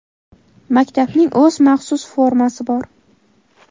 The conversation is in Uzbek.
Maktabning o‘z maxsus formasi bor.